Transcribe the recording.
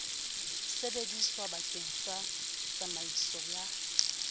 sebediswa bakeng sa tsamaiso ya